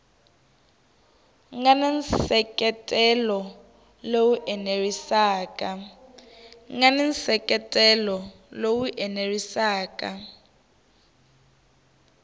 nga na nseketelo lowu enerisaka